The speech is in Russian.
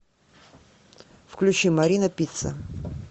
включи марина пицца